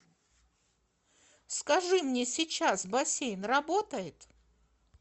скажи мне сейчас бассейн работает